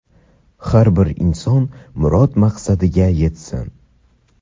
har bir inson murod-maqsadiga yetsin!.